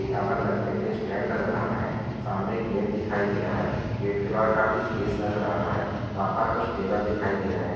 यहाँ पर नैप्किन के स्टैंड नजर आ रहा है सामने एक गेट दिखाई दे रहा है गेट के बाहर काफी स्पेस नजर आ रहा है वहाँ पर कुछ टेबल दिखाई दे रहे है।